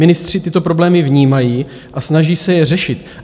Ministři tyto problémy vnímají a snaží se je řešit.